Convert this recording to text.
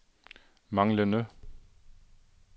manglende